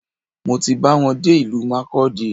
Mo ti ba wọn dé ìlú Markudi